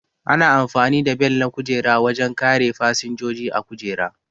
Ana amfani da Bel na kujera wajen kare fasinjoji a kujera